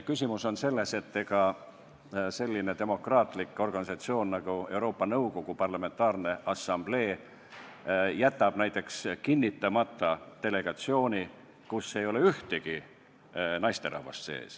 Küsimus on selles, kas selline demokraatlik organisatsioon nagu Euroopa Nõukogu Parlamentaarne Assamblee jätab näiteks kinnitamata delegatsiooni, kus ei ole ühtegi naisterahvast.